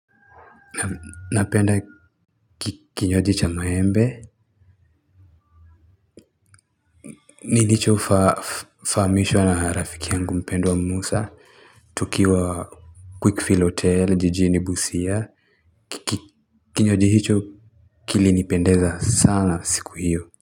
Napenda kinywaji cha maembe. Nilicho fahamishwa na rafiki yangu mpendwa Musa Tukiwa Quickfield Hotel, Jijini Busia Kinywaji hicho kilinipendeza sana siku hiyo.